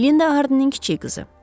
Linda Hardinin kiçik qızı.